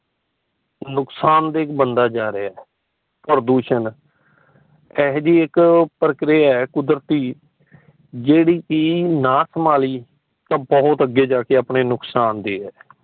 ਨੁਕਸਾਨ ਦੇ ਇੱਕ ਬੰਦਾ ਜਾ ਰਹੀਆਂ। ਪ੍ਰਦੂਸ਼ਣ ਇਹੋ ਜੇਈ ਇੱਕ ਪ੍ਰਕਿਰਿਆ ਹੈ ਕੁਦਰਤੀ ਜੇੜੀ ਕਿ ਨਾ ਸੰਬਾਲੀ ਤਾ ਬਹੁਤ ਅਗੇ ਜਾ ਕੇ ਆਪਣੇ ਨੁਕਸਾਨ ਦੀ ਹੈ।